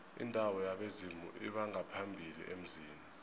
indawo yabezimu lbongaphambili emzini